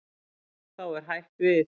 Þá er hætt við.